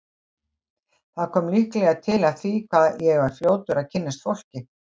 Það kom líklega til af því hvað ég var fljótur að kynnast fólki.